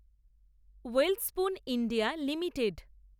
Welspun India limited